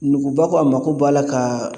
Nuguba ko a mago b'a la ka